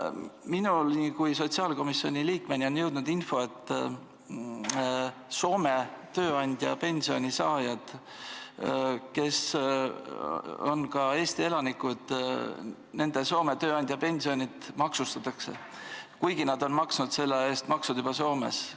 Minu kui sotsiaalkomisjoni liikmeni on jõudnud info, et osa Soome tööandja pensioni saajaid on Eesti elanikud ja nende Soome tööandja pensione maksustatakse, kuigi nad on need maksud Soomes juba maksnud.